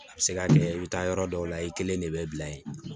A bɛ se ka kɛ i bɛ taa yɔrɔ dɔw la i kelen de bɛ bila yen